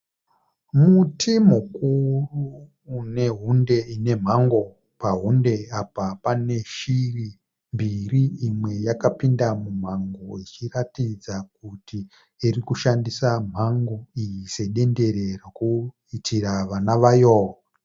Muti mukuru une hunde ine mhango. Pahunde apa pane shiri mbiri. Imwe yakapinda mumhango ichiratidza kuti iri kushandisa mhango iyi sedendere rokuitira vana vayo.